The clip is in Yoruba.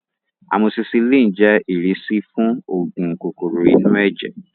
Amosisilin jẹ́ ìrísí fún oògùn kòkòrò inú ẹ̀jẹ̀